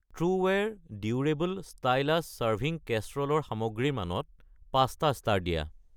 ট্ৰুৱেৰ durable ষ্টাইলাছ চাৰ্ভিং কেচৰল ৰ সামগ্ৰীৰ মানত ৫টা ষ্টাৰ দিয়া।